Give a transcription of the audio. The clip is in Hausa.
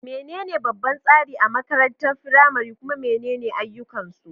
Menene babban tsari a makarantar firamare, kuma menene ayyukansu?